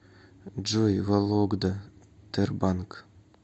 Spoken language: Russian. джой вологда тербанк